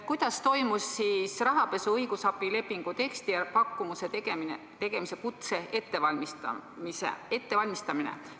Kuidas toimus rahapesuga seotud õigusabi lepingu teksti ja pakkumuse tegemise kutse ettevalmistamine?